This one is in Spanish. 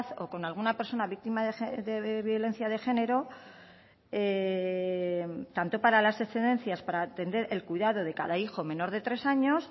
o con alguna persona víctima de violencia de género tanto para las excedencias para atender el cuidado de cada hijo menor de tres años